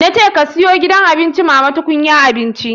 Na ce ka siyo gidan abinci mama tukunyar abinci.